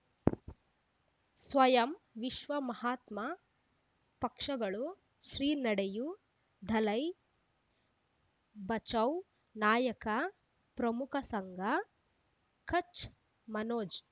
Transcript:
ಸ್ವಯಂ ವಿಶ್ವ ಮಹಾತ್ಮ ಪಕ್ಷಗಳು ಶ್ರೀ ನಡೆಯೂ ದಲೈ ಬಚೌ ನಾಯಕ ಪ್ರಮುಖ ಸಂಘ ಕಚ್ ಮನೋಜ್